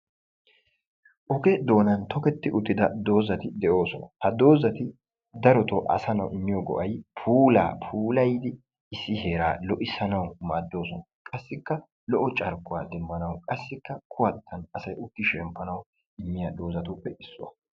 oge doonan tokketi uttida dozati de'oosona. ha dozati darotoo asaa na'aawu imiyogo'ati puulaa puulayidi issi heeraa lo'issanawui maadooosona. qassikka kuwatin asay uttanawu immiya dozatuppe issuwa.